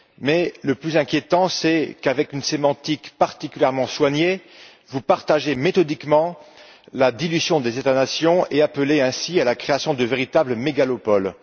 Mais, le plus inquiétant, c'est qu'avec une sémantique particulièrement soignée, vous partagez méthodiquement la dilution des États nations et appelez ainsi à la création de véritables mégalopoles.